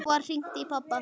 Þá var hringt í pabba.